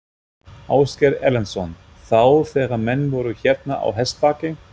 Ásgeir Erlendsson: Já, þegar menn voru hérna á hestbaki?